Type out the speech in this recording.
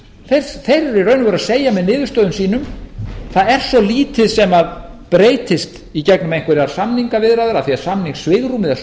þeir eru í raun og veru að segja með niðurstöðum sínum það er svo lítið sem breytist í gegnum einhverjar samningaviðræður af því að samningssvigrúmið er svo